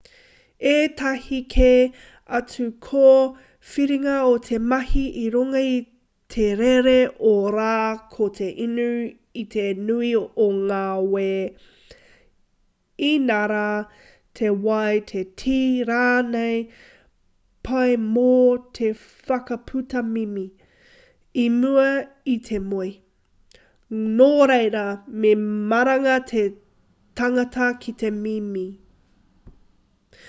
ētahi kē atu kōwhiringa o te mahi i runga i te rere o te rā ko te inu i te nui o ngā wē inarā te wai te tī rānei pai mō te whakaputa mimi i mua i te moe nō reira me maranga te tangata ki te mimi